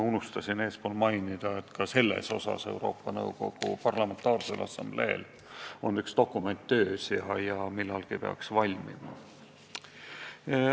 Unustasin enne mainida, et ka sellel teemal on Euroopa Nõukogu Parlamentaarsel Assambleel on üks dokument töös, millalgi peaks see valmima.